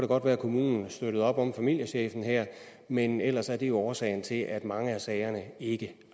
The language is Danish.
godt være at kommunen støttede op om familiechefen her men ellers er det jo årsagen til at mange af sagerne ikke